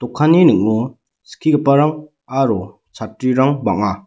ning·o skigiparang aro chatrirang bang·a.